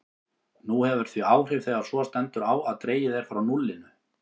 Núll hefur því áhrif þegar svo stendur á að dregið er frá núllinu.